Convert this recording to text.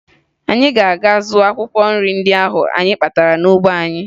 Anyị ga-aga zụọ akwụkwọ nri ndị ahụ anyị kpatara n'ugbo anyị